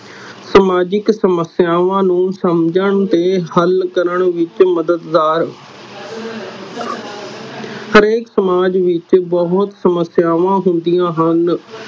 ਸਮਾਜਿਕ ਸਮਸਿਆਵਾ ਨੂੰ ਸਮਝਣ ਤੇ ਹਲ ਕਰਨ ਵਿਚ ਮਦਦਾਰ ਹਰੇਕ ਸਮਾਜ ਵਿਚ ਬਹੁਤ ਸਮਸਿਆਵਾ ਹੁੰਦੀਆਂ ਹਨ